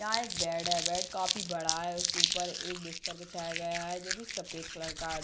यहाँ एक बेड है बेड काफी बड़ा है उसके ऊपर एक बिस्तर बिछाया गया है जो की सफ़ेद कलर का है।